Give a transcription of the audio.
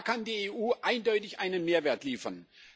Da kann die EU eindeutig einen Mehrwert liefern.